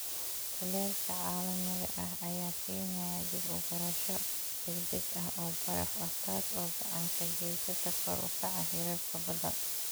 Kulaylka caalamiga ah ayaa keenaya dib u gurasho degdeg ah oo baraf ah, taas oo gacan ka geysata kor u kaca heerarka badda.